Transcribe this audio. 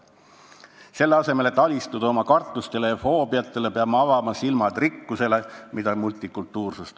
Selle asemel, et alistuda oma kartustele ja foobiatele, peame avama silmad rikkustele, mida multikultuursus pakub.